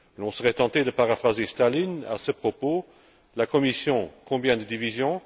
Mais on serait tenté de paraphraser Staline à ce propos la Commission, combien de divisions?